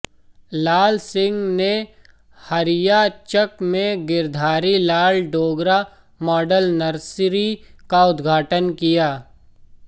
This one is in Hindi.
लाल सिंह ने हरिआ चक में गिरधारी लाल डोगरा मॉडल नर्सरी का उद्घाटन किया